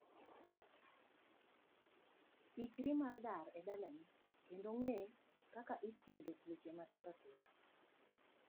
Ikri mar dar edalani, kendo ng'e kaka ithiedho tuoche matindo tindo.